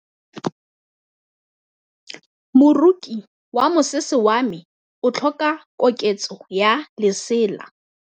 Moroki wa mosese wa me o tlhoka koketsô ya lesela.